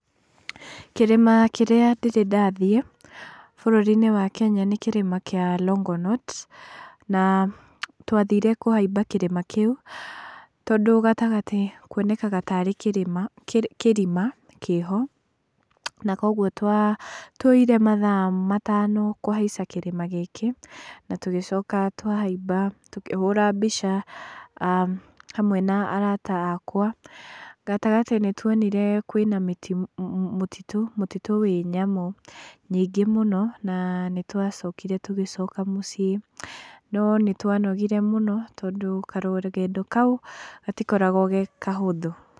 Kĩrĩma kĩrĩa ndĩrĩ ndathiĩ bũrũri-inĩ wa Kenya nĩ kĩrĩma kĩa Longonot , na twathire kũhaiba kĩrĩma kĩu tondũ gatagatĩ kuonekaga tarĩ kĩrĩma kĩrima kĩho, na kwoguo twoire mathaa matano kũhaica kĩrĩma gĩkĩ , na tũgĩcoka twa haiba tũkĩhũra mbica a hamwe na arata akwa , gatagatĩ nĩ twonire kwĩna mũtitũ, mũtitũ wĩ nyamũ nyingĩ mũno, na nĩ twa cokire tũgĩcoka mũciĩ , no nĩ twa nogire mũno tondũ karũgendo kau gatikoragwo ge kahũthũ.